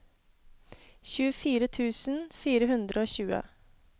tjuefire tusen fire hundre og tjue